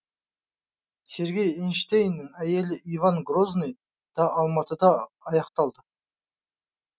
сергей эйзенштейннің әйгілі иван грозныйы да алматыда аяқталды